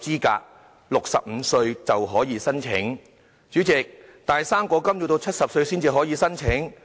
但是，代理主席，"生果金"卻要到70歲才可以申請。